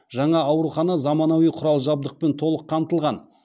жаңа аурухана заманауи құрал жабдықпен толық қамтылған